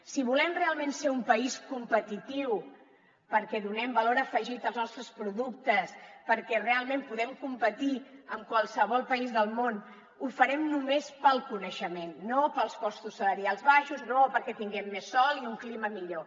si volem realment ser un país competitiu perquè donem valor afegit als nostres productes perquè realment podem competir amb qualsevol país del món ho farem només pel coneixement no pels costos salarials baixos no perquè tinguem més sol i un clima millor